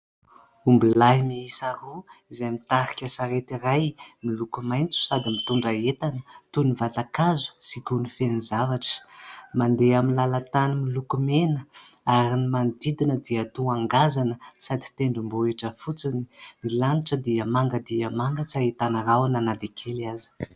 Omby lahy miisa roa izay mitarika sarety iray miloko maitso sady mitondra entana toy ny vatan-kazo sy gony feno zavatra. Mandeha amin'ny lalantany miloko mena ary ny manodidina dia toa ngazana sady tendrom-bohitra fotsiny; ny lanitra dia manga dia manga; tsy ahitana rahona na dia kely aza.